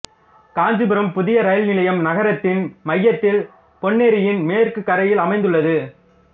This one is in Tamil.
காஞ்சிபுரம் புதிய ரயில் நிலையம் நகரத்தின் மையத்தில் பொன்னேரியின் மேற்கு கரையில் அமைந்துள்ளது